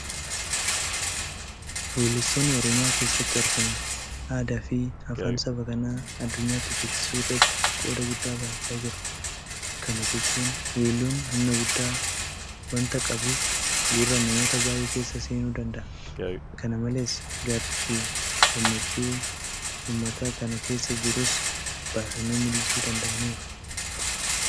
Weellistoonni Oromiyaa keessatti argaman aadaafi afaan saba kanaa addunyaatti beeksisuu irratti qooda guddaa bahachaa jiru. Kana jechuun weelluun humna guddaa waanta qabuuf gurra namoota baay'ee keessa seenuu danda'a. Kana malees gaaffiifi gammachuu uummata kana keessa jirus baasanii mul'isuu danda'aniiru.